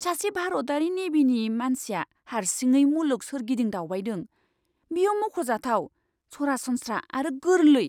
सासे भारतारि नेभिनि मानसिया हारसिङै मुलुग सोरगिदिं दावबायदों! बेयो मख'जाथाव, सरासनस्रा आरो गोरलै!